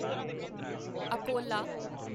Akola